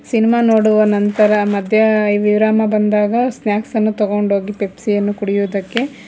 cinema ನೋಡುವ ನಂತರ ಮಧ್ಯವಿರಾಮ ಬಂದಾಗ ಸ್ನಾಕ್ಸ್ ಅನ್ನು ತಗೊಂಡ ಹೋಗಿ ಪೆಪ್ಸಿ ಅನ್ನು ಕುಡಿಯುವುದಕ್ಕೆ--